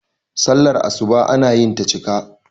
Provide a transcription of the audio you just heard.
sallar asuba ana yinta cika